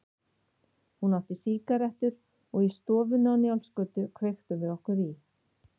Hún átti sígarettur og í stofunni á Njálsgötu kveiktum við okkur í.